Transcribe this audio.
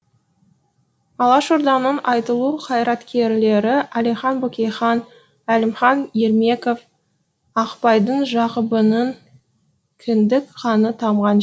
алашорданың айтулы қайраткерлері әлихан бөкейхан әлімхан ермеков ақпайдың жақыбының кіндік қаны тамған